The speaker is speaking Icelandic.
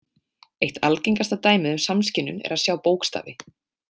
Eitt algengasta dæmið um samskynjun er að sjá bókstafi.